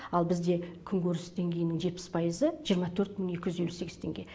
ал бізде күнкөріс деңгейінің жетпіс пайызы жиырма төрт мың екі жүз елу сегіз теңге